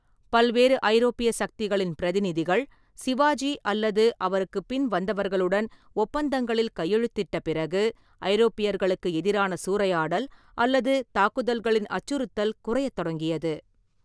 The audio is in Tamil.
பல்வேறு ஐரோப்பிய சக்திகளின் பிரதிநிதிகள் சிவாஜி அல்லது அவருக்குப் பின் வந்தவர்களுடன் ஒப்பந்தங்களில் கையெழுத்திட்ட பிறகு, ஐரோப்பியர்களுக்கு எதிரான சூறையாடல் அல்லது தாக்குதல்களின் அச்சுறுத்தல் குறையத் தொடங்கியது.